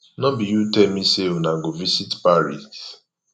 no be you tell me say una go visit paris